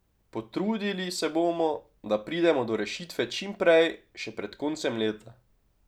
Potrudili se bomo, da pridemo do rešitve čim prej, še pred koncem leta.